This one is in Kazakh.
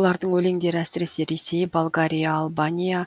олардың өлеңдері әсіресе ресей болгария албания